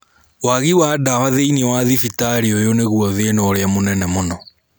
Wagi wa dawa thĩinĩ wa thibitarĩ ũyũ nĩguo thĩna ũrĩa munene mũno.